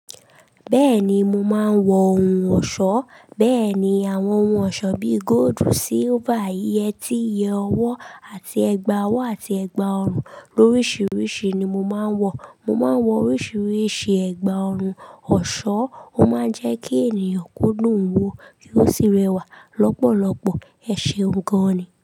Bẹ́ẹ̀ni mo máa ń wọ ohun ọ̀ṣọ́. Bẹ́ẹ̀ni àwọn ohun ọ̀ṣọ́ bíi gold, silver, yẹtí, iye owó àti ẹgba owó àti ẹgba ọrùn lóríṣiríṣi ni mo máa ń wọ. Mo máa ń wọ oríṣiríṣi ẹ̀gbà ọrùn. Ọ̀ṣọ́ ó máa ń jẹ́ kí ènìyàn kódùn un wo kí ó sì rẹwà. Lọ́pọ̀lọ́pọ̀ ẹṣeǹgàn ni.